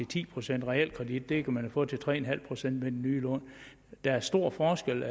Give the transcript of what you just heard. ti procent realkreditlån kan man jo få til tre en halv procent med de nye lån der er stor forskel